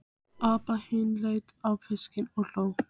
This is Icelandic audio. Abba hin leit á fiskinn og hló.